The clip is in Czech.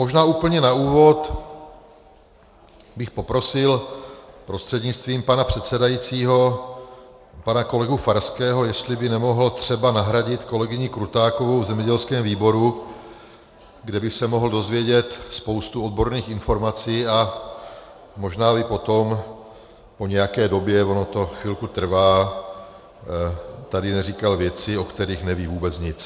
Možná úplně na úvod bych poprosil prostřednictvím pana předsedajícího pana kolegu Farského, jestli by nemohl třeba nahradit kolegyni Krutákovou v zemědělském výboru, kde by se mohl dozvědět spoustu odborných informací, a možná by potom po nějaké době - ono to chvilku trvá - tady neříkal věci, o kterých neví vůbec nic.